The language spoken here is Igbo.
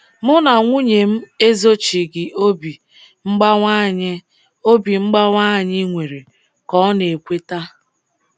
“Mụ na nwunye m ezochighị obi mgbawa anyị obi mgbawa anyị nwere,” ka ọ na-ekweta.